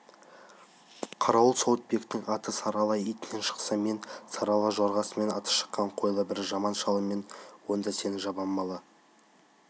қарауыл сауытбектің аты сары ала итімен шықса мен сары ала жорғасымен аты шыққан қойлы бір жаман шалымын онда сен жаманбала